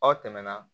Aw tɛmɛna